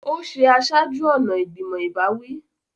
Ó ṣe aṣáájú-ọ̀nà ìgbìmọ̀ ìbáwí.